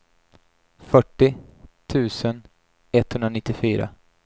fyrtio tusen etthundranittiofyra